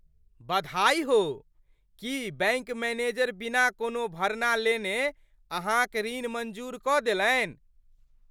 बधाई हो! की बैङ्क मैनेजर बिना कोनो भरना लेने अहाँक ऋण मँजूर कऽ देलनि?